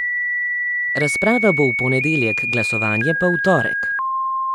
Razprava bo v ponedeljek, glasovanje pa v torek.